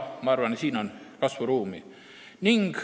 Ma arvan, et siin on kasvuruumi.